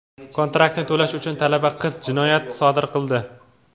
Kontraktni to‘lash uchun talaba qiz jinoyat sodir qildi.